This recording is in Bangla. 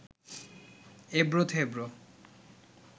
এবড়ো থেবড়ো